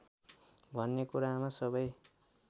भन्ने कुरामा सबै